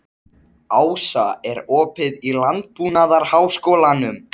Við kláruðum molann og þeir spurðu hvernig mér fyndist þetta.